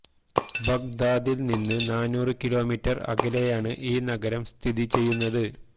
ബഗ്ദാദില് നിന്ന് നാനൂറ് കിലോമീറ്റര് അകലെയാണ് ഈ നഗരം സ്ഥിതി ചെയ്യുന്നത്